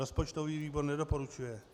Rozpočtový výbor nedoporučuje.